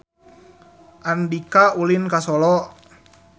Andika ulin ka Solo